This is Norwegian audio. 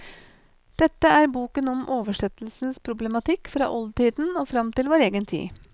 Dette er boken om oversettelsens problematikk fra oldtiden og fram til vår egen tid.